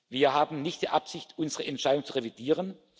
Wir haben nicht die Absicht, unsere Entscheidung zu revidieren.